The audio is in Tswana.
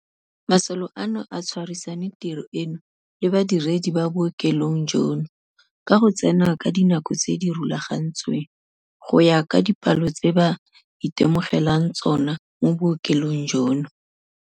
Masole ano a tshwarisane tiro eno le badiredi ba bookelong jono ka go tsena ka dinako tse di rulagantsweng, go ya ka dipalo tse ba itemogelang tsona mo bookelong jono.